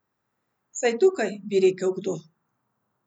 Vsaj tukaj, bi rekel kdo.